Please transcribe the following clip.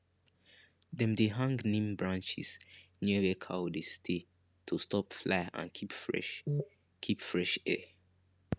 dem dey hang neem branches near where cow dey stay to stop fly and keep fresh keep fresh air